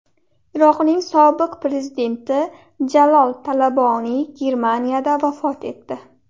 Iroqning sobiq prezidenti Jalol Talaboniy Germaniyada vafot etdi.